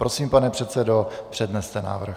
Prosím, pane předsedo, předneste návrh.